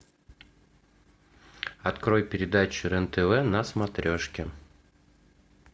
открой передачу рен тв на смотрешки